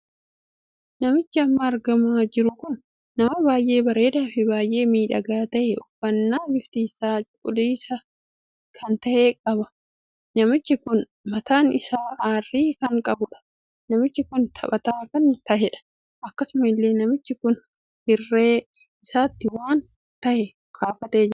Namichi amma argamaa jiru kun nama baay'ee bareedaa fi baay'ee miidhagaa tahee uffannaa bifti isaa cuquliisa kan tahee qaba. namichi kun mataan isaa arrii kan qabudha. namichi kun taphataa kan taheedha. akkasuma illee namichi kun hirree isaatti waan tahee kaafatee jira.